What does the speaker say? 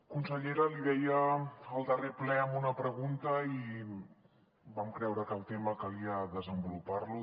consellera li deia en el darrer ple amb una pregunta i vam creure que el tema calia desenvolupar lo